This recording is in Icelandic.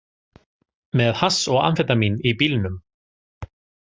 Með hass og amfetamín í bílnum